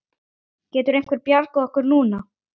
Getur einhver bjargað okkur núna?